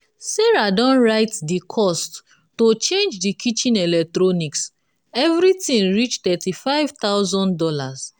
sarah don write di cost to change di kitchen electronics everything reach thirty five thousand dollars